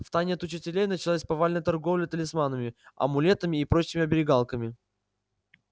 в тайне от учителей началась повальная торговля талисманами амулетами и прочими оберегалками